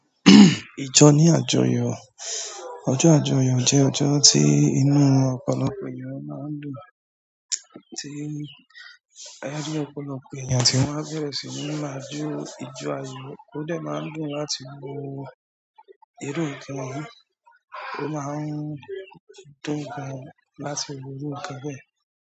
Ìjọ ní àjọyọ̀. Ọjọ́ àjọyọ̀ jẹ́ ọjọ́ tí inú ọ̀pọ̀lọpọ̀ ènìyàn máa ń dùn, tí ayálégbé ọ̀pọ̀lọpọ̀ ènìyàn tí wọ́n á bẹ̀rẹ̀ sí ní máa jó ìjo ayọ̀, ó dẹ̀ má ń dùn láti wo irú nǹkan yìí, ó má ń dùn gan láti wo irú nǹkan bẹ́ẹ̀.